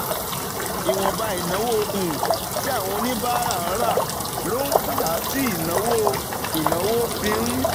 Ìwọ̀nba ìnáwó um tí àwọn oníbàárà ń ra ló ń fà á tí ìnáwó ìnáwó fi ń